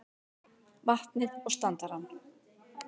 vatnið og standarann.